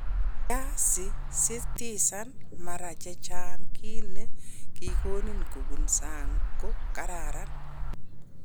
Kiasisitisan mara che chang kit ne kikonin kobun sang ko kararan.